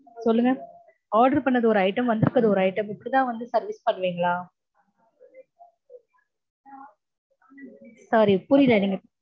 சொல்லுங்க. order பண்ணது ஒரு item, வந்திருக்கறது ஒரு item. இப்டிதா வந்து service பண்ணுவீங்களா? sorry புரியல நீங்க